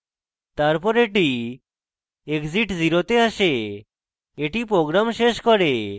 তারপর এটি exit 0 then আসে এটি program শেষ করে